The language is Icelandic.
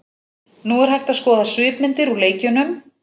Nú er hægt að skoða svipmyndir úr leikjunum.